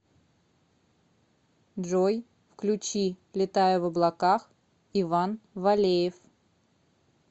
джой включи летаю в облаках иван валеев